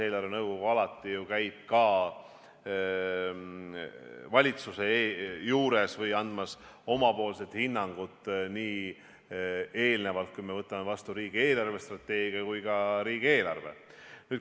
Eelarvenõukogu käib ju alati ka valitsuse juures andmas eelnevalt oma hinnangut, kui me võtame vastu riigi eelarvestrateegia ja ka riigieelarve.